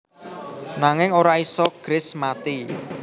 Nanging ora isa Grace mati